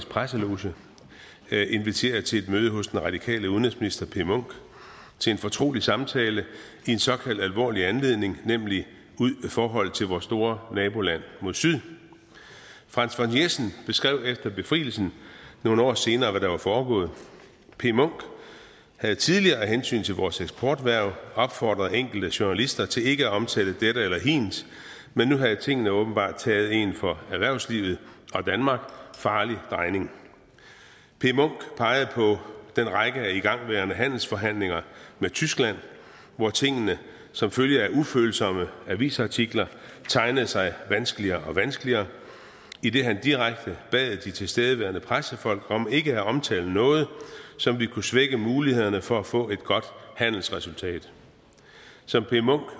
presseloge blevet inviteret til et møde hos den radikale udenrigsminister p munch til en fortrolig samtale i en såkaldt alvorlig anledning nemlig forholdet til vores store naboland mod syd franz von jessen beskrev efter befrielsen nogle år senere hvad der var foregået p munch havde tidligere af hensyn til vores eksporterhverv opfordret enkelte journalister til ikke at omtale dette eller hint men nu havde tingene åbenbart taget en for erhvervslivet og danmark farlig drejning p munch pegede på den række af igangværende handelsforhandlinger med tyskland hvor tingene som følge af ufølsomme avisartikler tegnede sig vanskeligere og vanskeligere idet han direkte bad de tilstedeværende pressefolk om ikke at omtale noget som ville kunne svække mulighederne for at få et godt handelsresultat som p munch